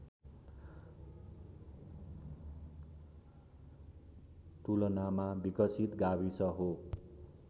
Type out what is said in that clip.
तुलनामा विकसित गाविस हो